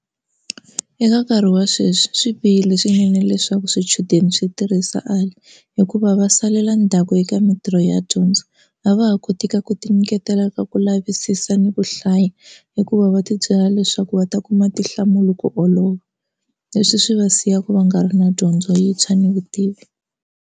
Eka nkarhi wa sweswi swi bihile swinene leswaku swichudeni swi tirhisa A_I hikuva va salela ndzhaku eka mintirho ya dyondzo a va ha kotiki ku ti nyiketela talaka ku lavisisa ni ku hlaya hikuva va tibyela leswaku va ta kuma tinhlamulo ku olova leswi swi va siyaka va nga ri na dyondzo yintshwa ni vutivi.